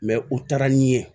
u taara ni ye